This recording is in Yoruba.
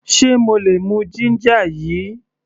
Ṣe mo lè mú ginger yìí?